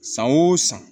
San o san